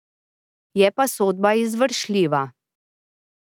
Je pa sodba izvršljiva.